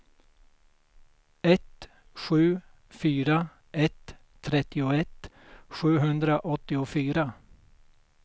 ett sju fyra ett trettioett sjuhundraåttiofyra